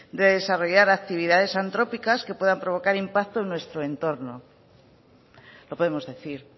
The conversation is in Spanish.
de desarrollar actividades antrópicas que puedan provocar impacto en nuestro entorno lo podemos decir